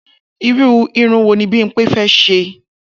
Irú irun wo ni Bímpé fé̩ s̩e?